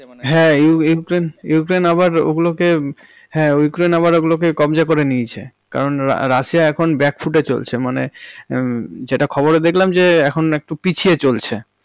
হ্যাঁ Ukraine~ Ukraine আবার ওগুলোকে~, হ্যাঁ ইউক্রেইন্ আবার ওগুলোকে কব্জা করে নিয়েছে কারণ রাশিয়া এখন backfoot এ চলছে মানে হমম যেটা খবরে দেখলাম যে এখন একটু পিছিয়ে চলছে।